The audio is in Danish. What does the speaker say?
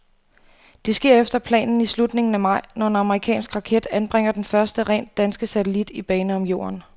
Det sker efter planen i slutningen af maj, når en amerikansk raket anbringer den første rent danske satellit i bane om jorden.